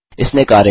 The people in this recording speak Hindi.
इसने कार्य किया